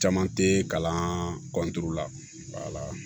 Caman te kalan la